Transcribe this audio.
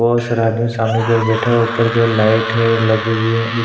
बहोत सारा आदमी सामने की ओर बैठा हुआ है ऊपर की ओर लाइट है लगी हुई है एक --